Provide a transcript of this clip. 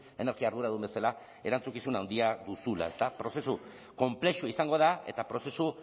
energia arduradun bezala erantzukizun handia duzula ezta prozesu konplexua izango da eta prozesu